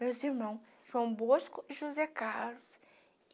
Meus irmãos, João Bosco e José Carlos.